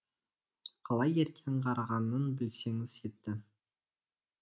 қалай ерте аңғарғанын білсеңіз етті